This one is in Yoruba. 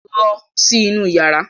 Lọ sí inú yàrá!